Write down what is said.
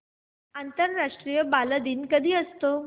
आंतरराष्ट्रीय बालदिन कधी असतो